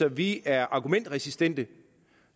at vi er argumentresistente